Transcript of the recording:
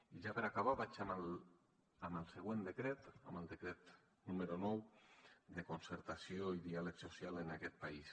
i ja per acabar vaig amb el següent decret amb el decret número nou de concertació i diàleg social en aquest país